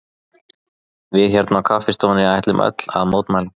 Við hérna á kaffihúsinu ætlum öll að mótmæla.